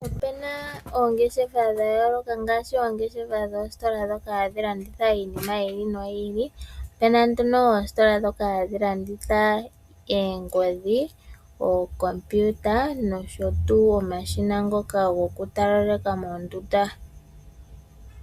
Ope na oongeshefa dha yooloka ngaashi oongeshefa dhoositola dhoka hadhi landitha iinima yiili noyi ili, ope na nduno oositola dhoka hadhi landitha eengodhi, ookompiuta nosho tuu omashina ngoka gokutalaleka mondunda.